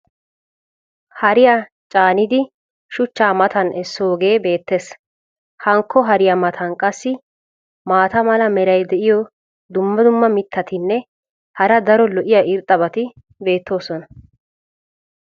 hariya caanidi shuchchaa matan esoogee beettees. hankko hariya matan qassi maata mala meray diyo dumma dumma mitatinne hara daro lo'iya irxxabati beettoosona.